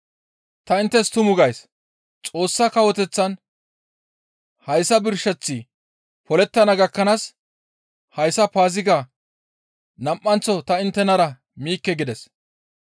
Ta inttes tumu gays; Xoossa Kawoteththan hayssa birsheththi polettana gakkanaas hayssa Paazigaa nam7anththo ta inttenara miikke» gides.